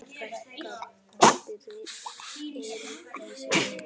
Þín frænka, Bryndís Rós.